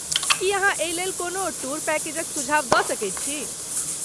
की अहाँ एहिलेल कोनो टूर पैकेजक सुझाव दऽ सकैत छी?